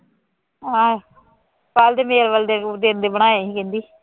ਹਾਂ ਕੱਲ੍ਹ ਦੇ ਮੇਵਲ ਦੇ ਗੁੜ੍ਹ ਸ਼ੇਰ ਦੇ ਬਣਾਏ ਸੀ ਕਹਿੰਦੀ